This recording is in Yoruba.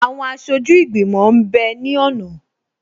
Àwọn aṣojú ìgbìmọ̀ m bẹ ní ọ̀nà